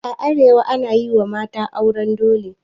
A arewa ana yi wa mata auren dole.